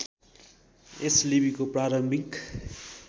यस लिपिको प्रारम्भिक